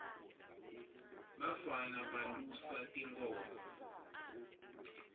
bafana balusa tinkhomo